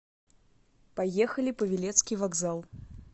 поехали павелецкий вокзал